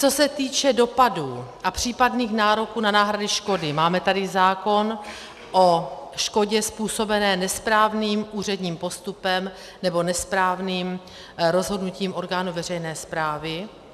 Co se týče dopadů a případných nároků na náhrady škody, máme tady zákon o škodě způsobené nesprávným úředním postupem, nebo nesprávným rozhodnutím orgánu veřejné správy.